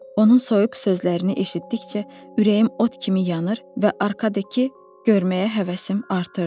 Onun soyuq sözlərini eşitdikcə ürəyim od kimi yanır və ardekı görməyə həvəsim artırdı.